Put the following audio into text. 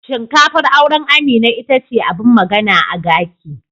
Shinkafar auren Amina ita ce abin magana a gaki.